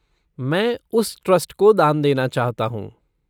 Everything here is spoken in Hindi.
मैं उस ट्रस्ट को दान देना चाहता हूँ।